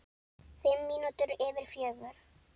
Fimm mínútur yfir fjögur.